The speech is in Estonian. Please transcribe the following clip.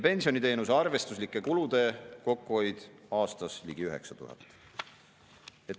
Pensioniteenuse arvestuslike kulude kokkuhoid aastas on ligi 9000.